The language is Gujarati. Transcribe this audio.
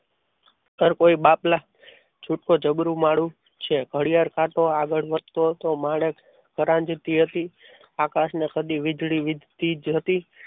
ચલ કોઈ બાપલા છૂટકો જબરું મારું છે. ઘડિયાળ કાંટો આગળ વધતો તો માણેક પરાગ જતી હતી આકાશને સદી વીજળી વીજળી થઈ જતી હતી.